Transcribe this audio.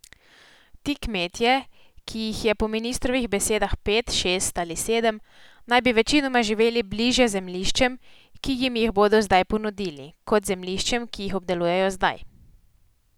Ti kmetje, ki jih je po ministrovih besedah pet, šest ali sedem, naj bi večinoma živeli bliže zemljiščem, ki jim jih bodo ponudili, kot zemljiščem, ki jih obdelujejo zdaj.